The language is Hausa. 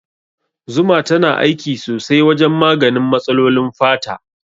Zuma tana aiki sosai wajen maganin matsalolin fata.